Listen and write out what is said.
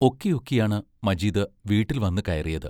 ഒക്കി ഒക്കിയാണ് മജീദ് വീട്ടിൽ വന്നു കയറിയത്.